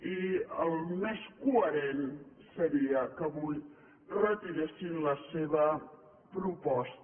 i el més coherent seria que avui retiressin la seva proposta